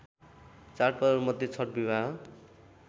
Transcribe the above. चाडपर्वहरूमध्ये छठ विवाह